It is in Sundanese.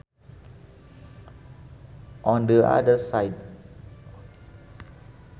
On the other side